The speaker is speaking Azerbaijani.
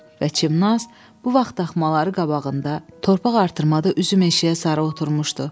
Və Çimnaz bu vaxt daxmaları qabağında torpaq artırmada üzüm meşəyə sarı oturmuşdu.